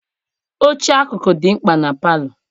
Oche akụkụ dị mkpa na palọ.